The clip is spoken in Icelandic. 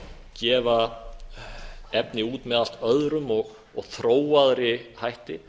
gefa efni út með allt öðrum og þróaðri hætti